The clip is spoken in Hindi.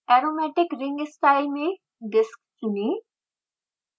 aromatic ring style में disk चुनें